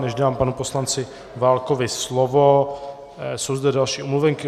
Než dám panu poslanci Válkovi slovo, jsou zde další omluvenky.